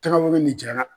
Tagabolo nin jara